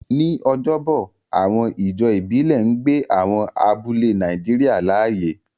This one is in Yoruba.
Ní ọjọ́bọ̀, àwọn ijó ìbílẹ̀ ń gbé àwọn abúlé Nàìjíríà láàyè.